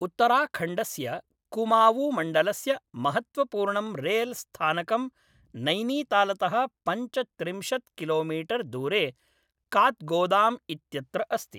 उत्तराखण्डस्य कुमावूँमण्डलस्य महत्त्वपूर्णं रेलस्थानकं नैनीतालतः पञ्चत्रिंशत् किलोमीटर् दूरे कात्गोदाम् इत्यत्र अस्ति।